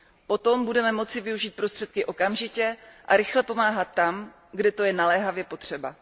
Potom budeme moci využít prostředky okamžitě a rychle pomáhat tam, kde to je naléhavě potřeba.